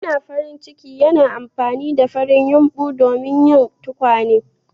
Yana farin ciki yana amfani da farin yumɓu don yin tukwane.